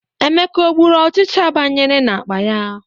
Emeka ọ gburu ọchịcha banyere n'akpa ya?